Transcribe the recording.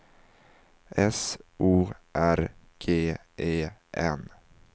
S O R G E N